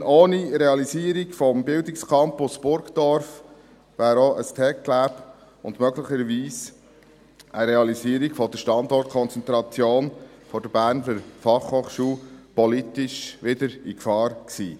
Denn ohne Realisierung des Bildungscampus’ Burdorf, wäre auch ein TecLab und möglicherweise eine Realisierung der Standortkonzentration der Berner Fachhochschule (BFH) politisch wieder in Gefahr gewesen.